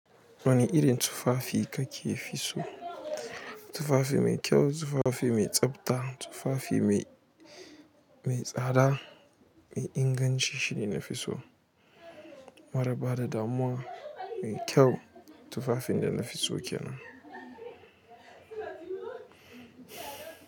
Wani irin tufafi kake fi so? Tufafi mai kyau, tufafi mai tsabta, tufafi mai, mai tsada, mai inganci shine nafi so. Mara ba da damuwa mai kyau tufafin da nafi so kenan.